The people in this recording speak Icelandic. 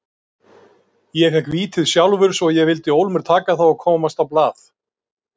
Ég fékk vítið sjálfur svo ég vildi ólmur taka það og komast á blað.